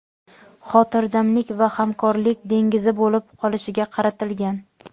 xotirjamlik va hamkorlik dengizi bo‘lib qolishiga qaratilgan.